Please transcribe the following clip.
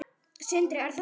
Sindri: Er það ekki?